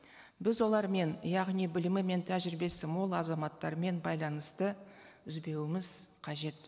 біз олармен яғни білімі мен тәжірибесі мол азаматтармен байланысты үзбеуіміз қажет